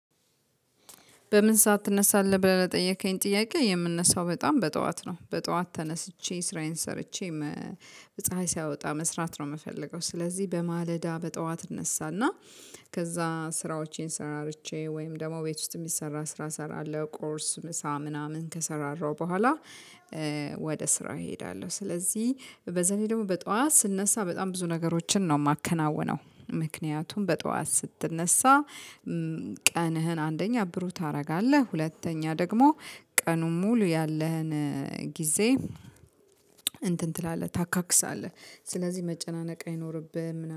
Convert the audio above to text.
በምን ሰዓት ትነሳለህ ብለህ ለጠየከኝ ጥያቄ የምነሳው በጣም በጠዋት ነው በጠዋት ተነስቼ ስራዬን ሰርቼ። በፀሀይ ሳያወጣ መስራት ነው የምፈልገው። ስለዚህ በማለዳ በጠዋት እነሳና ከዛ ስራዎቼን ሰራርቼ ወይም ደግሞ ቤት ውስጥ የሚሰራ ስራ እሰራለሁ ቁርስ ምሳ ምናምን ከሰራራሁ በኋላ። ወደ ስራየ እሄዳለሁ። ስለዚህ በዛ ላይ ደግሞ በጧት ስነሳ በጣም ብዙ ነገሮችን ነው የማከናውነው ምክንያቱም በጧት ስትነሳ ቀንህን አንደኛ ብሩህ ታረጋለህ ሁለተኛ ደግሞ ቀኑን ሙሉ ያለህን ጊዜ እንትን ትላለህ ታካክሳለህ። ስለዚህ መጨናነቅ አይኖርብህም